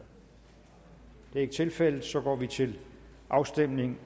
er ikke tilfældet og så går vi til afstemning